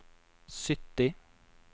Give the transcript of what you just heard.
sytti